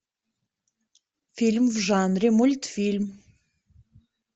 фильм в жанре мультфильм